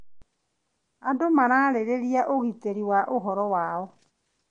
Andũ mararĩrĩria ũgitĩri wa ũhoro wao.